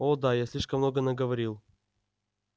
о да я слишком много наговорил